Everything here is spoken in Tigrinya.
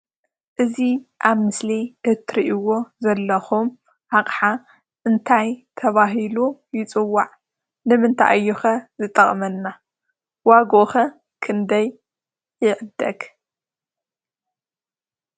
እዚ ኣብ ምስሊ እትሪእዎ ዘለኹም ኣቅሓ እንታይ ተባሂሉ ይፅዋዕ? ንምንታይ እዩ ከ ዝጠቅመና? ዋግኡ ከ ክንደይ ይዕደግ?